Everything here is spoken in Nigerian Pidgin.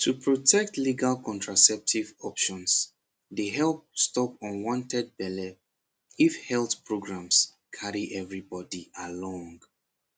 to protect legal contraceptive options dey help stop unwanted belle especially if health programs carry everybody along